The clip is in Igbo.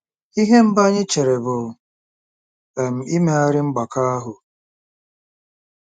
Ihe mbụ anyị chere bụ um imegharị mgbakọ ahụ.